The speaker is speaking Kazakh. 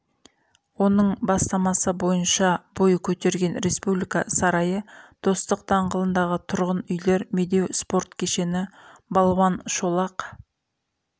оның бастамасы бойынша бой көтерген республика сарайы достық даңғылындағы тұрғын үйлер медеу спорт кешені балуан шолақ